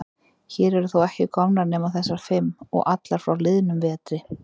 Hér eru þó ekki komnar nema þessar fimm. og allar frá liðnum vetri.